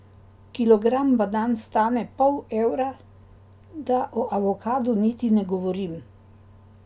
Kilogram banan stane pol evra, da o avokadu niti ne govorim.